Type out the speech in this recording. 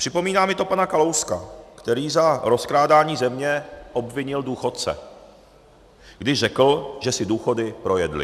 Připomíná mi to pana Kalouska, který za rozkrádání země obvinil důchodce, když řekl, že si důchody projedli.